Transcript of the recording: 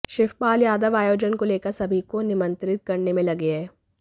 शिवपाल यादव आयोजन को लेकर सभी को निमंत्रित करने में लगे हैं